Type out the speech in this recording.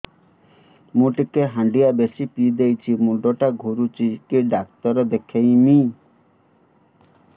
ମୁଇ ଟିକେ ହାଣ୍ଡିଆ ବେଶି ପିଇ ଦେଇଛି ମୁଣ୍ଡ ଟା ଘୁରୁଚି କି ଡାକ୍ତର ଦେଖେଇମି